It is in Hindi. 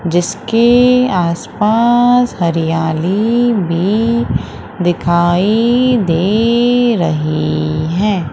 जिसके आसपास हरियाली भी दिखाई दे रही हैं।